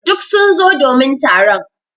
Duk sun zo domin taron.